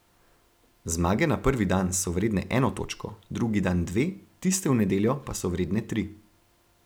Zmage na prvi dan so vredne eno točko, drugi dan dve, tiste v nedeljo pa so vredne tri.